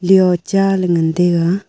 lio cha ley ngan taga.